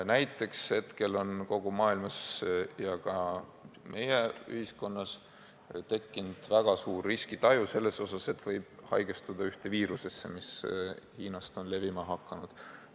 Näiteks hetkel on kogu maailmas ja ka meie ühiskonnas tekkinud väga tugev riskitaju selles osas, et on oht haigestuda ühte Hiinast levima hakanud viirusesse.